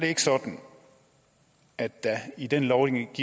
ikke sådan at der i den lovgivning